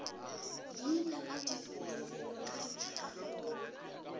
leina la lefelo ka ditlhakakgolo